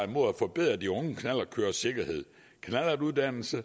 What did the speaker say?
mod at forbedre de unge knallertkøreres sikkerhed uddanelsen